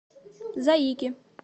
заики